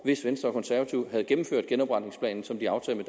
hvis venstre og konservative havde gennemført genopretningsplanen som de aftalte